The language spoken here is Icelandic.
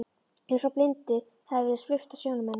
Eins og blindu hafi verið svipt af sjónum hennar.